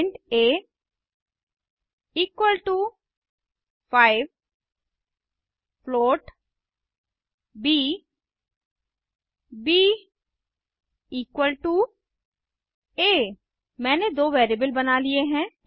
int a equal to 5 float b b equal to a मैंने दो variable बना लिए हैं